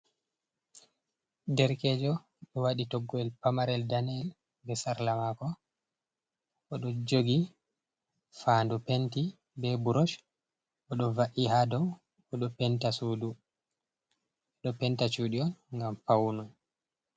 Derkejo ɗo waɗi toggo’el pamarel daneyel be sarla mako oɗo jogi fandu penti be burosh, oɗo va’i hadow oɗo penta sudu, oɗo penta chuɗi on ngam paune.